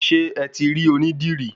Ṣé eti rí oní dìrí?